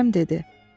Kərəm dedi: